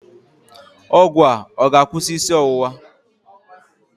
Ọgwụ a ọ ga-akwụsị isi ọwụwa?